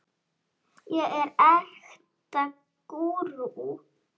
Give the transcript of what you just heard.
ég er ekta gúrú.